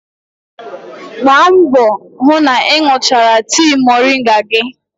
Gbaa mbọ hụ na ị ṅụchara tii moringa gị.